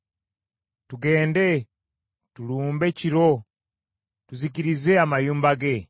Tugende, tulumbe kiro tuzikirize amayumba ge.”